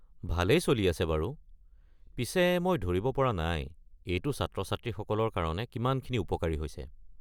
ভালেই চলি আছে বাৰু, পিছে মই ধৰিব পৰা নাই এইটো ছাত্ৰ-ছাত্ৰীসকলৰ কাৰণে কিমানখিনি উপকাৰী হৈছে।